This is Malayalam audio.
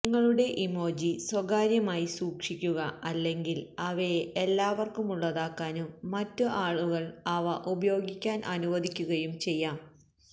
നിങ്ങളുടെ ഇമോജി സ്വകാര്യമായി സൂക്ഷിക്കുക അല്ലെങ്കിൽ അവയെ എല്ലാവർക്കുമുള്ളതാക്കാനും മറ്റ് ആളുകൾ അവ ഉപയോഗിക്കാൻ അനുവദിക്കുകയും ചെയ്യാം